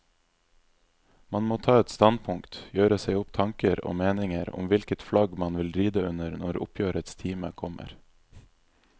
Man må ta et standpunkt, gjøre seg opp tanker og meninger om hvilket flagg man vil ride under når oppgjørets time kommer.